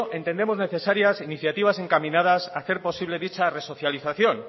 entendemos necesarias iniciativas encaminadas a hacer posible dicha resocialización